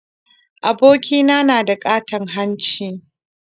Abokina na da ƙaton hanci